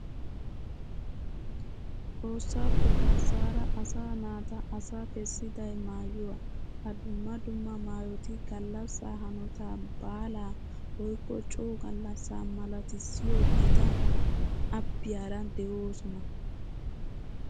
Xoossappe garssaara asaa naata asa kessiday maayuwa. Ha dumma dumma maayoti gallassaa hanotaa baala woykka coo gallassa malatissiyo gita abbiyara de'oosona.